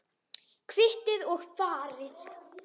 Kvittið og farið.